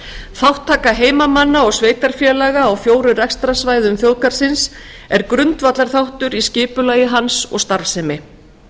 þátttaka heimamanna og sveitarfélaga á fjórum rekstrarsvæðum þjóðgarðsins er grundvallarþáttur í skipulagi hans og starfsemi